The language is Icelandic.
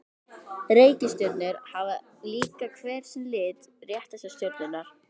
Reikistjörnur hafa líka hver sinn lit, rétt eins og stjörnurnar.